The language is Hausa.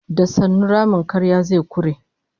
Da sannu ramin karya zai kure